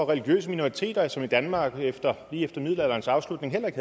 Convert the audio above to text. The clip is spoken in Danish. religiøse minoriteter som i danmark lige efter middelalderens afslutning